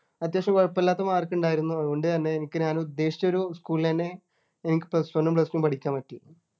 അത്യാവശ്യം കുഴപ്പമില്ലാത്ത Mark ണ്ടായിരുന്നു അതുകൊണ്ട് തന്നെ എനിക്ക് ഞാൻ ഉദ്ദേശിച്ച ഒരു school ൽ ന്നെ എനിക്ക് Plus one ഉം Plus two ഉം പഠിക്കാൻ പറ്റി